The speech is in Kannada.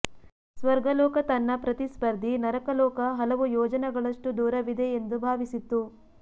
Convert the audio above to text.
ಸ್ವರ್ಗಲೋಕ ತನ್ನ ಪ್ರತಿಸ್ಪರ್ಧಿ ನರಕಲೋಕ ಹಲವು ಯೋಜನಗಳಷ್ಟು ದೂರವಿದೆ ಎಂದು ಭಾವಿಸಿತ್ತು